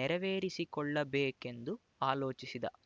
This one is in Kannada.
ನೆರವೇರಿಸಿಕೊಳ್ಳಬೇಕೆಂದು ಆಲೋಚಿಸಿದ